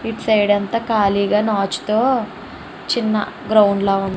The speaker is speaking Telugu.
ఇటు సైడ్ అంతా ఖాళీగా నాచుతో చిన్న గ్రౌండ్ లా --